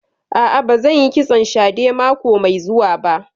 A'a, ba zan yi kitson shadè mako mai zuwa ba